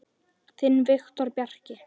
Þinn Viktor Bjarki.